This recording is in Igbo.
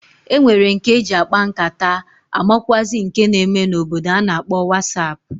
E nwere nke e ji akpa nkata amakwụazị nke na-eme n'obodo a na-akpọ wasap.